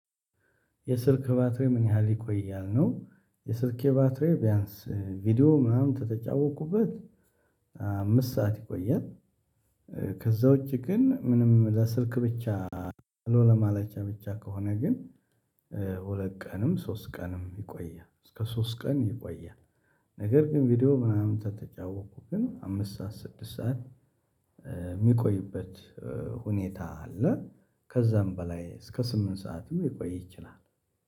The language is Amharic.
የስልክ ባትሮዬ ምን ያህል ይቆያል ነው? የስልኬ ባትሪዬ ቢያንስ ቪዲዮ ምናምን ከተጫወቅኩበት አምስት ሰዓት ይቆያል። ከዛ ውጪ ግን ምንም ለስልክ ብቻ ሃሎ ለማለቻ ብቻ ከሆነ ግን ሁለት ቀንም ሶስት ቀንም ይቆያል እስከ ሶስት ቀን ይቆያል። ነገር ግን ቪዲዮ ምናምን ከተጫወኩ ግን አምስት ሰዓት ስድስት ሰዓት የሚቆይበት ሁኔታ አለ። ከዛም በላይ እስከ ስምንት ሰዓቱ የሚቆይ ይችላል።